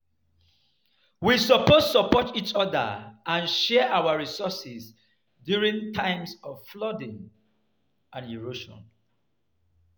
We suppose support each other and share our resources during times of flooding and erosion.